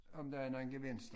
Om der er nogen gevinst